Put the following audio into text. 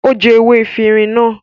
Ó jẹ ewé efirin náà.